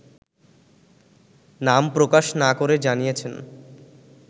নাম প্রকাশ না করে জানিয়েছেন